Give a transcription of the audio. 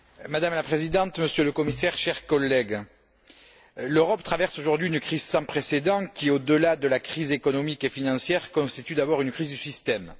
Madame la Présidente, Monsieur le Commissaire, chers collègues, l'Europe traverse aujourd'hui une crise sans précédent qui, au delà de la crise économique et financière, constitue d'abord une crise du système.